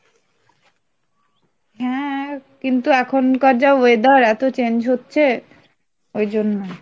হ্যাঁ, কিন্তু এখনকার যা weather এতো change হচ্ছে ওই জন্য।